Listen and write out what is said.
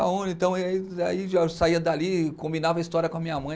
Então, aí eu saía dali, combinava a história com a minha mãe.